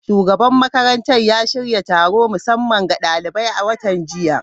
Shugaban makarantar ya shirya taron musamman ga daliban a watan jiya.